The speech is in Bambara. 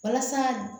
Walasa